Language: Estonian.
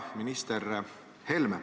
Hea minister Helme!